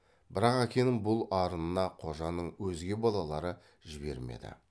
бірақ әкенің бұл арынына қожаның өзге балалары жібермеді